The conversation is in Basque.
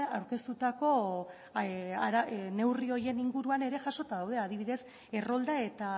aurkeztutako neurri horien inguruan ere jasota daude adibidez errolda eta